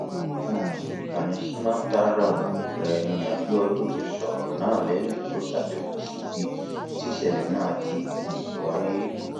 lórí um ìkànnì smarthraàmù rẹ ni abiodun ti sọrọ náà lẹyìn tó ṣàbẹwò síbi tísẹlẹ náà ti um wáyé